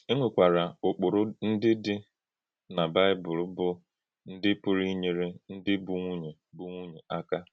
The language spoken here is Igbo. È nwekwara ụ̀kpụrụ ndị dị na Baịbụl bụ́ ndị pụrụ inyere ndị bụ́ nwùnyè bụ́ nwùnyè aka.